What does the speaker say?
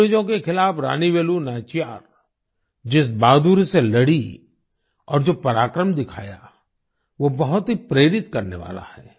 अंग्रेजों के खिलाफ़ रानी वेलु नाचियार जिस बहादुरी से लड़ीं और जो पराक्रम दिखाया वो बहुत ही प्रेरित करने वाला है